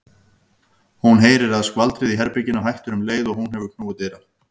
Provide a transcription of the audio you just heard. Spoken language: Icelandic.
Hún heyrir að skvaldrið í herberginu hættir um leið og hún hefur knúið dyra.